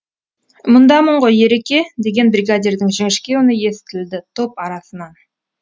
мұндамын ғой ереке деген бригадирдің жіңішке үні естілді топ арасынан